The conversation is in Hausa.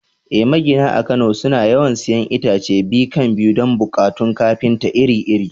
Eh, magina a Kano suna yawan siyan itace biyu-kan-biyu don buƙatun kafinta iri-iri.